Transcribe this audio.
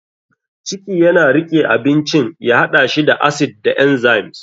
ciki yana riƙe abincin ya haɗa shi da acid da enzymes.